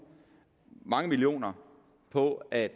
mange millioner på at